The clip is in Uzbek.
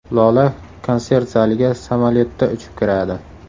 Lola konsert zaliga samolyotda uchib kiradi.